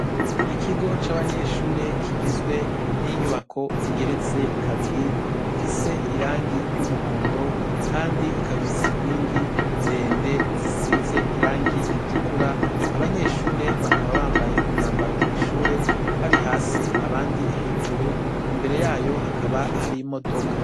Ikigo cabanyeshure kigizwe ninyubako igeretse kabiri ifise irangi ryumuhondo kandi ikabifise inkingi ndende zisize irangi ritukuru abanyeshure bakaba bambaye umwambaro wishure bari hasi abandi hejuru imbere yayo hakaba hari imodoka